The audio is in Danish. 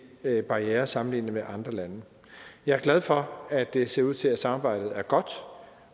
barrierer sammenlignet med andre lande jeg er glad for at det ser ud til at samarbejdet er godt